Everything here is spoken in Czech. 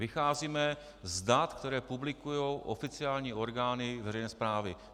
Vycházíme z dat, která publikují oficiální orgány veřejné správy.